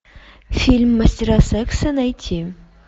фильм мастера секса найти